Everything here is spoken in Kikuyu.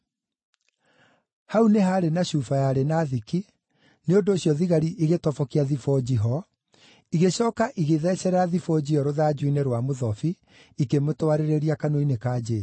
Hau nĩ haarĩ na cuba yarĩ na thiki, nĩ ũndũ ũcio thigari igĩtobokia thibũnji ho, igĩcooka igĩthecerera thibũnji ĩyo rũthanju-inĩ rwa mũthobi, ikĩmĩtwarĩrĩria kanua-inĩ ka Jesũ.